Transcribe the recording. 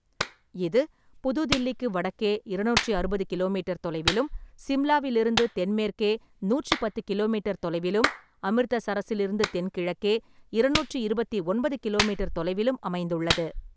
இது புது தில்லிக்கு வடக்கே இருநூற்றி அறுபது கிலோமீட்டர் தொலைவிலும், சிம்லாவிலிருந்து தென்மேற்கே நூற்றி பத்து கிலோமீட்டர் தொலைவிலும், அமிர்தசரஸிலிருந்து தென்கிழக்கே இருநூற்றி இருபத்தி ஒன்பது கிலோமீட்டர் தொலைவிலும் அமைந்துள்ளது.